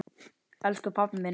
Elsku pabbi minn er dáinn.